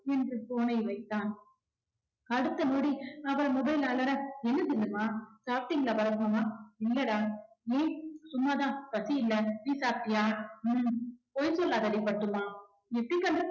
என்று phone னை வைத்தான். அடுத்த நொடி அவர் mobile அலற என்ன ஜில்லுமா சாப்டீங்களா பரத் மாமா இல்லடா ஏன் சும்மாதான் பசி இல்லை நீ சாப்டியா ஹம் பொய் சொல்லாதடி பட்டும்மா எப்படி